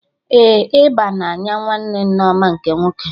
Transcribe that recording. Ee, ịba na-anya nwanne Nneoma nke nwoke